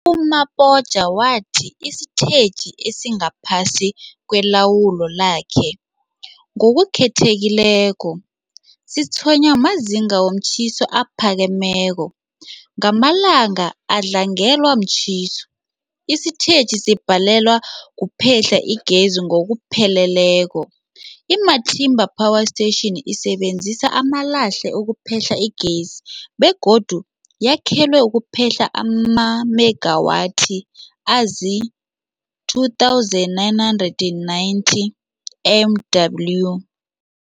U-Mabotja wathi isitetjhi esingaphasi kwelawulo lakhe, ngokukhethekileko, sitshwenywa mazinga womtjhiso aphakemeko. Ngamalanga adlangelwe mtjhiso, isitetjhi sibhalelwa kuphehla igezi ngokupheleleko. I-Matimba Power Station isebenzisa amalahle ukuphehla igezi begodu yakhelwe ukuphehla amamegawathi azii-2990 MW.